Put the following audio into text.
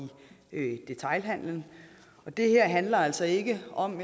detailhandelen det her handler altså ikke om